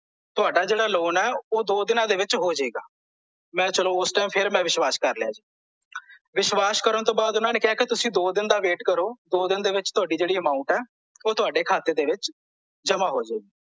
ਤੁਹਾਡਾ ਜਿਹੜਾ loan ਐ ਓਹ ਦੋ ਦਿਨਾਂ ਵਿੱਚ ਹੋ ਜਾਏਗਾ ਮੈਂ ਚਲੋ ਓਸ ਟਾਈਮ ਮੈਂ ਫੇਰ ਵਿਸ਼ਵਾਸ ਕਰ ਲਿਆ ਜੀ ਵਿਸ਼ਵਾਸ ਕਰਨ ਤੋਂ ਬਾਅਦ ਓਹਨਾਂ ਨੇ ਕਿਹਾ ਜੀ ਕੀ ਤੁਸੀਂ ਦੋ ਦਿਨ ਦਾ wait ਕਰੋ ਦੋ ਦਿਨ ਦੇ ਵਿੱਚ ਤੁਹਾਡੀ ਜਿਹੜੀ amount ਐ ਓਹ ਤੁਹਾਡੇ ਖਾਤੇ ਦੇ ਵਿੱਚ ਜਮਾਂ ਹੋ ਜਾਏਗੀ